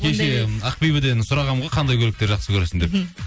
кеше ақбибіден сұрағанмын ғой қандай көліктер жақсы көресің деп мхм